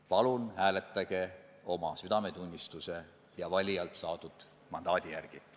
Palun hääletage oma südametunnistuse ja valijailt saadud mandaadi järgi!